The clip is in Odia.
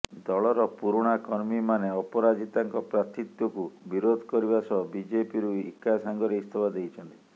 ଦଳର ପୁରୁଣା କର୍ମୀମାନେ ଅପରାଜିତାଙ୍କ ପ୍ରାର୍ଥୀତ୍ୱକୁ ବିରୋଧ କରିବା ସହ ବିଜେପିରୁ ଏକା ସଙ୍ଗରେ ଇସ୍ତଫା ଦେଇଛନ୍ତି